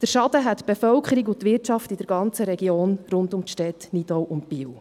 Den Schaden hätten die Bevölkerung und die Wirtschaft in der ganzen Region rund um die Städte Nidau und Biel.